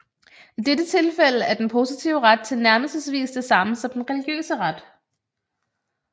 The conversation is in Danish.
I dette tilfælde er den positive ret tilnærmelsesvis det samme som den religiøse ret